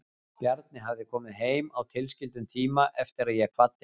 Bjarni hafði komið heim á tilskildum tíma eftir að ég kvaddi hann.